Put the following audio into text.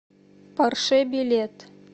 порше билет